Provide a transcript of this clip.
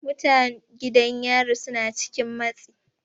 Mutan gidan yari suna cikin matsi.